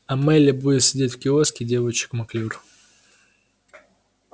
а мелли будет сидеть в киоске девочек маклюр